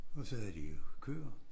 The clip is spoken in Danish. Og så havde de jo køer